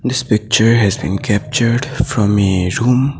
this picture has been captured from a room.